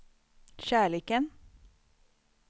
kärleken